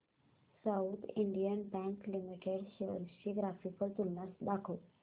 south Indian Bank Limited shares ची graphical तुलना दाखव